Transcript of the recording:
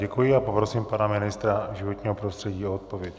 Děkuji a poprosím pana ministra životního prostředí o odpověď.